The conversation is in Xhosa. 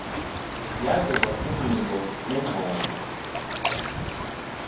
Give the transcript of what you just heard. yavela kwiinkqubo neengxoxo